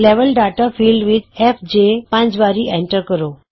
level data field ਵਿਚ F J ਪੰਜ ਵਾਰੀ ਐਂਟਰ ਕਰੋ